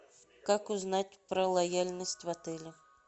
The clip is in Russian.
как узнать про лояльность в отеле